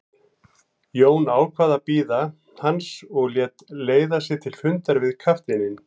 Jón ákvað að bíða hans og lét leiða sig til fundar við kafteininn.